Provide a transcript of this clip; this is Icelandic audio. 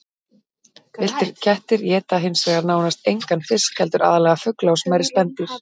Villtir kettir éta hins vegar nánast engan fisk heldur aðallega fugla og smærri spendýr.